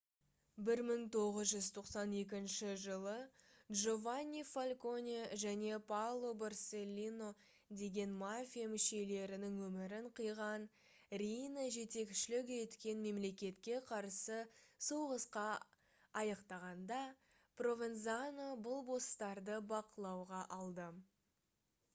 1992 жылы джованни фальконе және паоло борселлино деген мафия мүшелерінің өмірін қиған риина жетекшілік еткен мемлекетке қарсы соғысқа аяқтағанда провензано бұл босстарды бақылауға алды